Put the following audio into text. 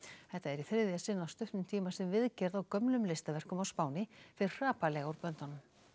þetta er í þriðja sinn á stuttum tíma sem viðgerð á gömlum listaverkum á Spáni fer hrapallega úr böndunum